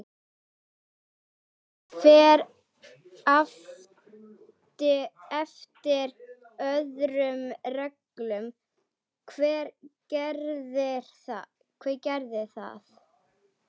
Hann fer eftir öðrum reglum, hver gerir það?